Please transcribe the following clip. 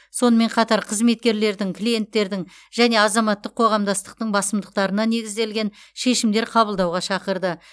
сонымен қатар қызметкерлердің клиенттердің және азаматтық қоғамдастықтың басымдықтарына негізделген шешімдер қабылдауға шақырады